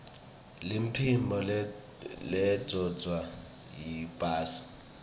liphimbo lendvodza yiytbase